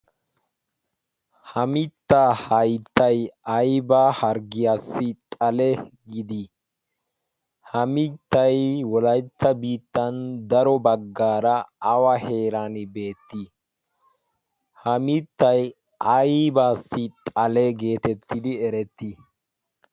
ha mittaa hayttay aybaa harggiyaassi xale gidii ha mittay wolaytta bittan daro baggaara awa heeran beettii ha mittay aybaassi xale geetettidi erettii